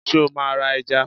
sẹ o ma ra èja?